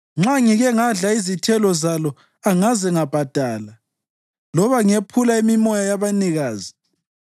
nxa ngike ngadla izithelo zalo angaze ngabhadala loba ngephula imimoya yabanikazi,